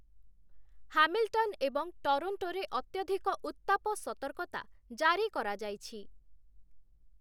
Hamilton ଏବଂ ଟରୋଣ୍ଟୋରେ ଅତ୍ୟଧିକ ଉତ୍ତାପ ସତର୍କତା ଜାରି କରାଯାଇଛି ।